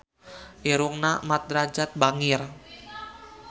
Irungna Mat Drajat bangir